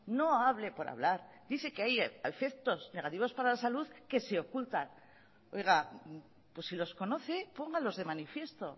no hablo por hablar dice que hay efectos negativos para la salud que se ocultan oiga que si los conocen póngalos de manifiesto